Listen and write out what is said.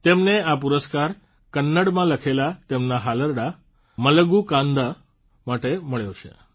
તેમને આ પુરસ્કાર કન્નડમાં લખેલા તેમના હાલરડાં મલગૂ કન્દા માટે મળ્યો છે